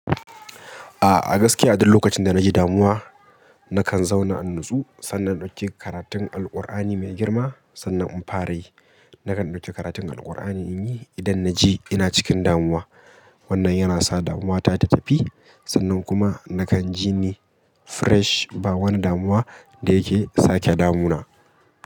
A'a gaskiya duk lokacin da na ji damuwa nakan zauna in natsu sannan na ɗauki karatun Alqur'ani mai girma sannan in fara yi. Nakan ɗauki karatun Alqur'ani in yi idan na ji ina cikin damuwa. Wannan yana sa damuwa ta ta tafi sannan kuma nakan ji ni fresh ba wani damuwa da yake sake damuna.